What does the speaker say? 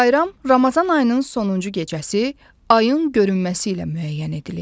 Bayram Ramazan ayının sonuncu gecəsi ayın görünməsi ilə müəyyən edilir.